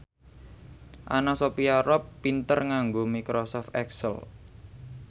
Anna Sophia Robb pinter nganggo microsoft excel